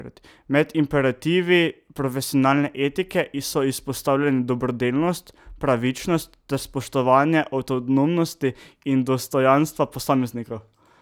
Med imperativi profesionalne etike so izpostavljeni dobrodelnost, pravičnost ter spoštovanje avtonomnosti in dostojanstva posameznikov.